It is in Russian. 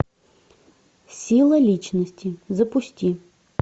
сила личности запусти